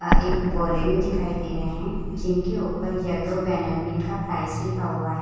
यहाँ एक बोरे में दिखाई दे रहे हैं जिनके ऊपर येलो बैनर में इनका प्राइस लिखा हुआ है।